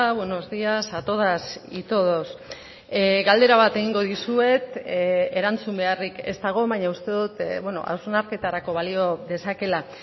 buenos días a todas y todos galdera bat egingo dizuet erantzun beharrik ez dago baina uste dut hausnarketarako balio dezakela